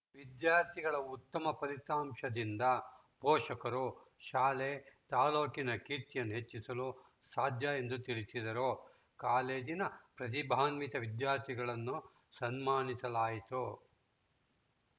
ವಿದ್ಯಾರ್ಥಿಗಳ ಉತ್ತಮ ಫಲಿತಾಂಶದಿಂದ ಪೋಷಕರು ಶಾಲೆ ತಾಲೂಕಿನ ಕೀರ್ತಿಯನ್ನು ಹೆಚ್ಚಿಸಲು ಸಾಧ್ಯ ಎಂದು ತಿಳಿಸಿದರು ಕಾಲೇಜಿನ ಪ್ರತಿಭಾನ್ವಿತ ವಿದ್ಯಾರ್ಥಿಗಳನ್ನು ಸನ್ಮಾನಿಸಲಾಯಿತು